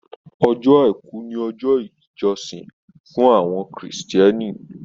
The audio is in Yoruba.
Ọjọ́ Àìkú ni ọjọ́ ìjọsìn fún àwọn Kristẹni